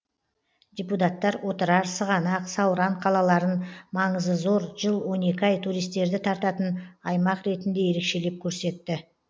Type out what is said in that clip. депутаттар отырар сығанақ сауран қалаларын маңызы зор жыл он екі ай туристерді тартатын аймақ ретінде ерекшелеп көрсетті